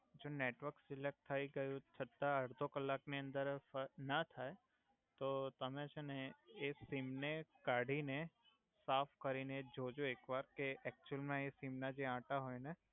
network select થઈ ગયુ છ્તા અડધો કલાકની અંદર ફર્ક ના થાય તો તમે છે ને એ સીમ ને કાઢીને સાફ કરીને જો જો એક વાર કે એક્ચુઅલમાં એ સીમ નાં જે આંટા હોય ને